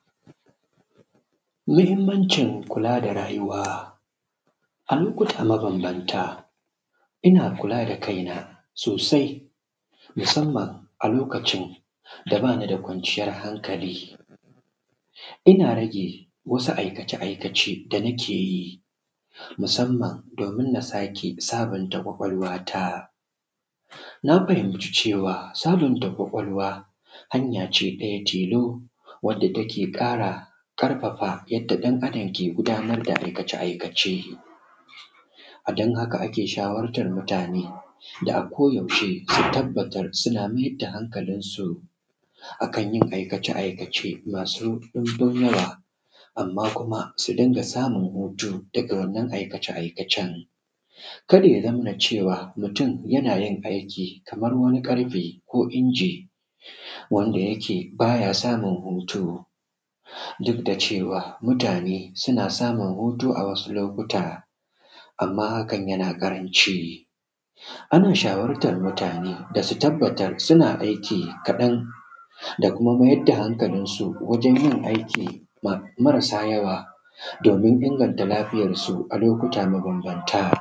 muhimmancin kula da rayuwa a lokuta mabambanta ina kula da kaina sosai musamman a lokacin da ba ni da kwanciyar hankali ina rage wasu aikace aikace da nake yi musamman domin na sake sabunta ƙwaƙwalwata na fahimci cewa sabunta ƙwaƙwalwa hanya: ce ɗaya tilo wadda take ƙara ƙarfafa yadda ɗan adam ke gudanar da aikace aikace a don haka ake shawartar mutane da a ko da yaushe su tabbatar suna mayar da hankalinsu a kan aikace aikace masu ɗumbin yawa amma kuma su dinga samun hutu daga wannan aikace aikacen kada ya zamana cewa mutum yana yin aiki kamar wani ƙarfe ko wani inji wanda yake ba ya samun hutu duk da cewa mutane suna samun hutu a wasu lokuta amma hakan yana ƙaranci ana shawartar mutane da su tabbatar suna aiki kaɗan da kuma mayar da hankalinsu wajen yin aiki marasa yawa domin inganta lafiyarsu a lokuta mabambanta